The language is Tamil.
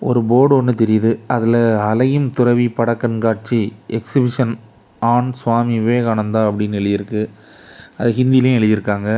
ஒரு போர்டு ஒன்னு தெரியுது அதுல அலையும் துறவி படக்கண்காட்சி எக்சிபிஷன் ஆன் சுவாமி விவேகானந்தா அப்டின்னு எழுதியிருக்கு அது ஹிந்திலு எழுதியிருக்காங்க.